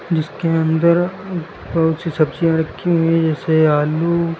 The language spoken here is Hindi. जिसके अंदर बहुत सी सब्जियां रखी हुई है जैसे आलू।